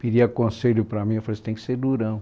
Pedia conselho para mim, eu falei, você tem que ser durão.